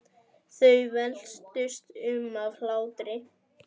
Þau veltust um af hlátri.